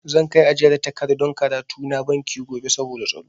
Zan kai ajiyar takardun karatu na banki gobe saboda tsaro.